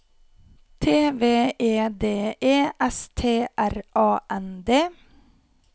T V E D E S T R A N D